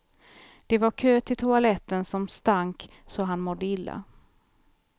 Det var kö till toaletten som stank så han mådde illa.